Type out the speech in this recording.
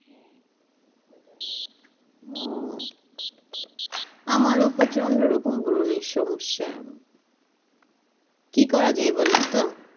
ও আমারও প্রচন্ড রকম ব্রণের সমস্যা কি করা যায় বলেন তো?